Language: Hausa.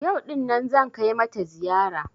Yau ɗin nan zan kai mata ziyara